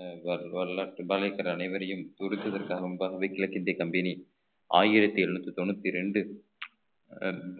அஹ் அனைவரையும் புது புது கிழக்கிந்திய company ஆயிரத்தி எழுநூத்தி தொண்ணூத்தி ரெண்டு